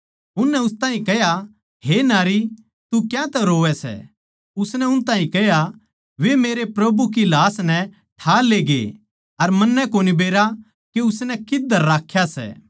उननै उस ताहीं कह्या हे नारी तू क्यातै रोवै सै उसनै उन ताहीं कह्या वे मेरै प्रभु की लाश नै ठा लेगे अर मन्नै कोनी बेरा के उसनै कित्त धर राख्या सै